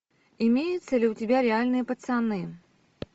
имеется ли у тебя реальные пацаны